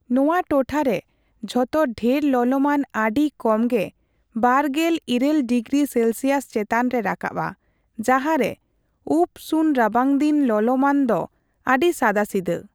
ᱱᱚᱣᱟ ᱴᱚᱴᱷᱟᱨᱮ ᱡᱚᱛᱚ ᱰᱷᱮᱨ ᱞᱚᱞᱚᱢᱟᱱ ᱟᱹᱰᱤ ᱠᱚᱢᱜᱮ ᱒᱘ ᱰᱤᱜᱽᱨᱤ ᱥᱮᱞᱥᱤᱭᱟᱥ ᱪᱮᱛᱟᱱᱨᱮ ᱨᱟᱠᱟᱵᱟ ᱡᱟᱦᱟᱸᱨᱮ ᱩᱯᱚᱼᱥᱩᱱ ᱨᱟᱵᱟᱝᱫᱤᱱ ᱞᱚᱞᱚᱢᱟᱱ ᱫᱚ ᱟᱹᱰᱤ ᱥᱟᱫᱟᱥᱤᱫᱟᱹ ᱾